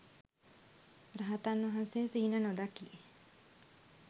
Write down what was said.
රහතන් වහන්සේ සිහින නොදකී